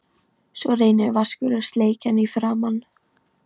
Svo reynir Vaskur að sleikja hann í framan.